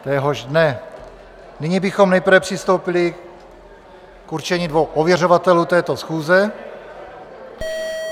Nyní bychom nejprve přistoupili k určení dvou ověřovatelů této schůze.